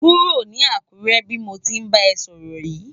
Kúró ni Akure bi mó ti nbá è sòrò yi